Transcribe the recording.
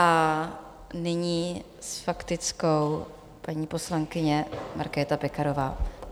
A nyní s faktickou paní poslankyně Markéta Pekarová.